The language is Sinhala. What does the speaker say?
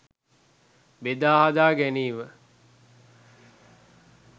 බෙදා හදා ගැනීම